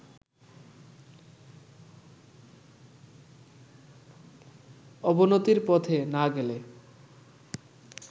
অবনতির পথে না গেলে